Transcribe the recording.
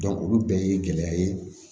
olu bɛɛ ye gɛlɛya ye